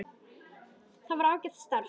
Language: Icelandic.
Það var ágætt starf.